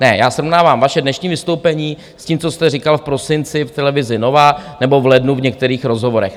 Ne, já srovnávám vaše dnešní vystoupení s tím, co jste říkal v prosinci v televizi Nova nebo v lednu v některých rozhovorech.